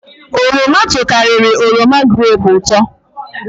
Oroma tokariri oroma grepu uto